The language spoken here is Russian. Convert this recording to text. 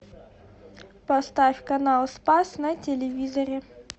поставь канал спас на телевизоре